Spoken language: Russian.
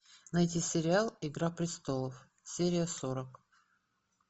найди сериал игра престолов серия сорок